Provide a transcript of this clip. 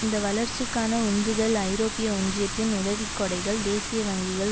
இந்த வளர்ச்சிக்கான உந்துதல் ஐரோப்பிய ஒன்றியத்தின் உதவிக்கொடைகள் தேசிய வங்கிகள்